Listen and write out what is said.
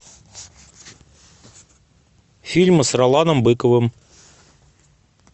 фильмы с роланом быковым